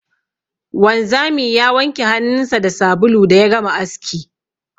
Wanzami ya wanke hannunsa da sabulu da ya gama aski.